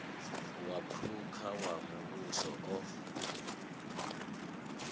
wa phukha wa muvhuso o